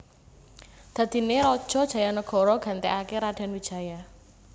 Dadiné Raja Jayanagara gantéaké Radén Wijaya